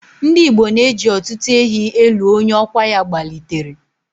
Ndigbo na-eji ọtụtụ ehi elu onye ọkwa ya gbalitere.